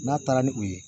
N'a taara ni u ye